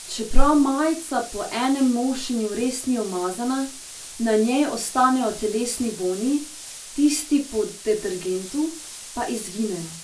Čeprav majica po enem nošenju res ni umazana, na njej ostanejo telesni vonji, tisti po detergentu pa izginejo.